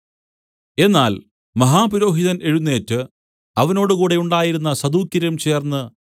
എന്നാൽ മഹാപുരോഹിതൻ എഴുന്നേറ്റ് അവനോട് കൂടെ ഉണ്ടായിരുന്ന സദൂക്യരും ചേർന്നു